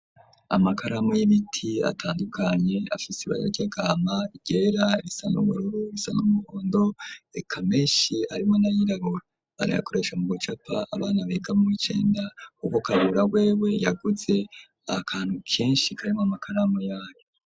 Amakaramu y'ibiti, atandukanye, afise ibara ry'agahama, iryera, irisa n’ubururu, irisana n’umuhondo, eka meshi, arimwo n’ayirabura; barayakoresha mu gucapa, abana biga mu w’icenda; kuko Kabura wewe, yaguze akantu kenshi, karimwo amakaramu, yayo.